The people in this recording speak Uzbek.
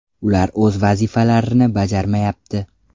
Ular o‘z vazifalarini bajarmayapti.